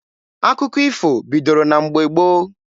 Akụkọ ifo bidoro na mgbe gboo.